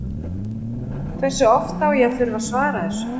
Hversu oft á ég að þurfa að svara þessu?